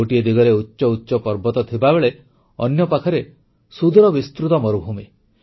ଗୋଟିଏ ଦିଗରେ ଉଚ୍ଚ ଉଚ୍ଚ ପର୍ବତ ଥିବାବେଳେ ଅନ୍ୟପାଖରେ ସୁଦୂର ବିସ୍ତୃତ ମରୁଭୂମି